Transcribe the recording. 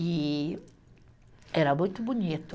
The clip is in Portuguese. E era muito bonito.